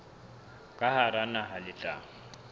ka hara naha le tla